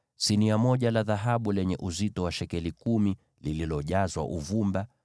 sinia moja la dhahabu lenye uzito wa shekeli kumi, likiwa limejazwa uvumba;